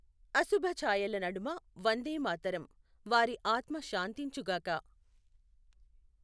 అశుభఛాయల నడుమ వందే మాతరం. వారి ఆత్మ శాంతించుగాక!